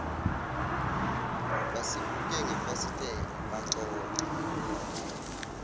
basibuke ngefasitela baxoxa